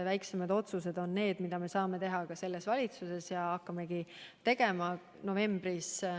Väiksemad otsused on need, mida me saame teha ka selles valitsuses ja hakkamegi tegema.